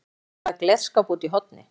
Gengur að glerskáp úti í horni.